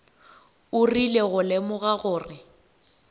o rile go lemoga gore